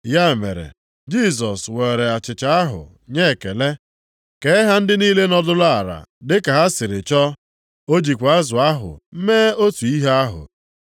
Ya mere, Jisọs weere achịcha ahụ nye ekele, kee ha ndị niile nọdụrụ ala dị ka ha sịrị chọọ. O jikwa azụ ahụ mee otu ihe ahụ.